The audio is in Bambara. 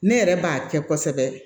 Ne yɛrɛ b'a kɛ kosɛbɛ